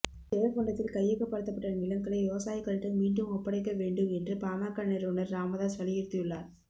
ஜெயங்கொண்டத்தில் கையகப்படுத்தப்பட்ட நிலங்களை விவசாயிகளிடம் மீண்டும் ஒப்படைக்க வேண்டும் என்று பாமக நிறுவனர் ராமதாஸ் வலியுறுத்தியுள்ளார்